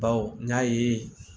Baw n y'a ye